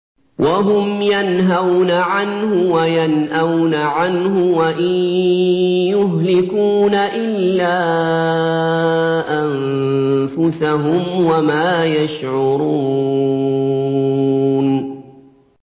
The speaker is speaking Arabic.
وَهُمْ يَنْهَوْنَ عَنْهُ وَيَنْأَوْنَ عَنْهُ ۖ وَإِن يُهْلِكُونَ إِلَّا أَنفُسَهُمْ وَمَا يَشْعُرُونَ